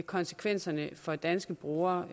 konsekvenserne for danske brugere